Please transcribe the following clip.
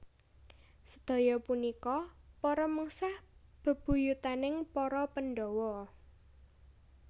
Sedaya punika para mengsah bebuyutaning para Pandhawa